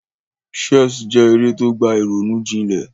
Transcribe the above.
Chess je eré to gba ìrònú jinlẹ̀